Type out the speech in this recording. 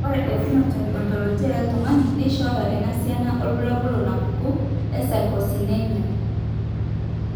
Ore ephenotype ontology etung'ani neishooyo enasiana oorbulabul onaapuku eSarcosinemia.